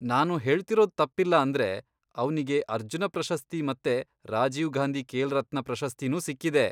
ನಾನು ಹೇಳ್ತಿರೋದ್ ತಪ್ಪಿಲ್ಲ ಅಂದ್ರೆ, ಅವ್ನಿಗೆ ಅರ್ಜುನ ಪ್ರಶಸ್ತಿ ಮತ್ತೆ ರಾಜೀವ್ ಗಾಂಧಿ ಖೇಲ್ರತ್ನ ಪ್ರಶಸ್ತಿನೂ ಸಿಕ್ಕಿದೆ.